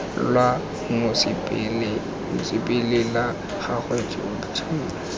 lwa mosepele la gago tsotlhe